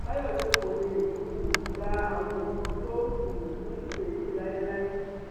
fàyọṣe kó lè um gba àwọn nǹkan tó um ń ṣe yìí láéláé